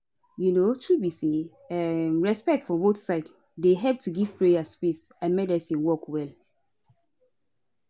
um truth be say um respect for both side dey help to give prayer space and medicine work well